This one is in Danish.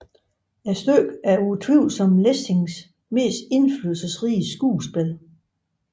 Stykket er utvivlsomt Lessings mest indflydelsesrige skuespil